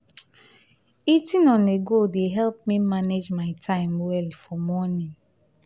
eating on-the-go dey help me manage my time well for morning.